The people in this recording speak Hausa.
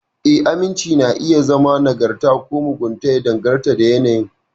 Ee, aminci na iya zama nagarta ko mugunta, ya danganta da yanayin.